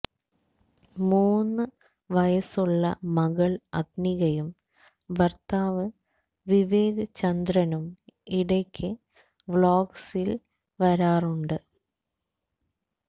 മൂന്ന് വയസ്സുള്ള മകള് അഗ്നികയും ഭര്ത്താവ് വിവേക് ചന്ദ്രനും ഇടയ്ക്ക് വ്ളോഗ്സില് വരാറുണ്ട്